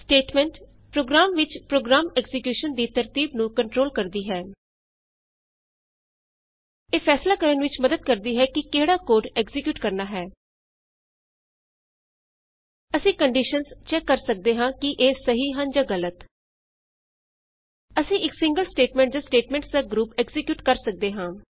statement program ਵਿਚ program execution ਦੀ ਤਰਤੀਬ ਨੂੰ ਕੰਟਰੋਲ ਕਰਦੀ ਹੈ ਇਹ ਫੈਸਲਾ ਕਰਨ ਵਿਚ ਮੱਦਦ ਕਰਦੀ ਹੈ ਕਿ ਕਿਹੜਾ ਕੋਡ ਐਕਜ਼ੀਕਿਯੂਟ ਕਰਨਾ ਹੈ ਅਸੀਂ ਕੰਡੀਸ਼ਨਸ ਚੈਕ ਕਰ ਸਕਦੇ ਹਾਂ ਕਿ ਇਹ ਸਹੀ ਹਨ ਜਾਂ ਗਲਤ ਅਸੀਂ ਇਕ ਸਿੰਗਲ ਸਟੇਟਮੈਂਟ ਜਾਂ ਸਟੇਟਮੈਂਟਸ ਦਾ ਗਰੁਪ ਐਕਜ਼ੀਕਿਯੂਟ ਕਰ ਸਕਦੇ ਹਾਂ